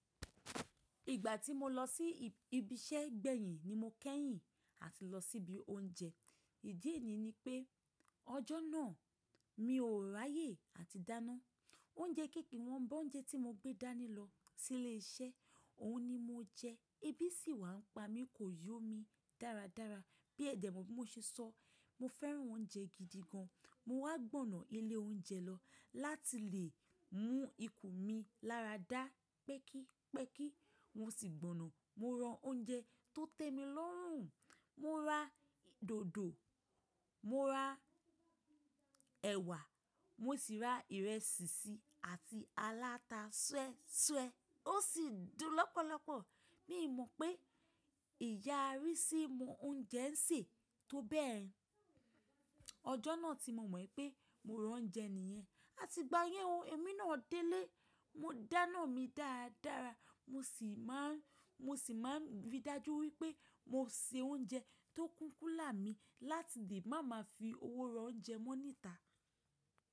Ìgbà tí mo lọ sí ibi iṣẹ́ gbẹ̀yin ni mo kẹ́yìn àti lọ sí ibi oúnjẹ. Ìdí ènìyí ni pé ọjọ́ náà mi ò ráyè àti dáná. Oúnjẹ kéékèè wọn bá oúnjẹ tí mo gbé dání lọ sí ilé iṣẹ́, òhun ni mo jẹ. Ibí sì wá ń pa mí, kò yó mi dáradára. Bí ẹ̀dẹ̀ mo bá ṣe sọ́, mo fẹ́ran oúnjẹ gidi gan. Mo wá gbọ̀nà ilé oúnjẹ lọ láti lè mú ikù mi láradá pẹ́kí pẹ́kí. Wọn sì gbọ̀nà. Mo rán oúnjẹ tó tẹ́ mi lọ́rùn. Mo ra dòdò, mo ra ẹ̀wà, mo sì ra ìrẹsì sí àti aláta súẹ́súẹ́. Ó sì dùn lọ́pọ̀lọpọ̀. Mi ò mọ̀ pé ìyà rí sí mu oúnjẹ ń sè tó bẹ́ẹrẹ. Ọjọ́ náà tí mo mọ̀ pé mo rán oúnjẹ nìyẹn. Àti ìgbà yẹn o, èmi náà délé. Mo dáná mi dáradára. Mo sì máa, mo sì máa rí i dájú wípé mo se oúnjẹ tó kúnkúnlà mi láti lè máa ma fi owó rán oúnjẹ mọ níta.